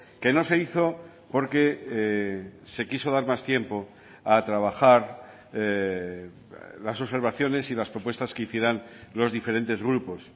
que no se hizo porque se quiso dar más tiempo a trabajar las observaciones y las propuestas que hicieran los diferentes grupos